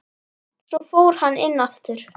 Svo fór hann inn aftur.